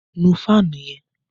Nù fáànù yẹn!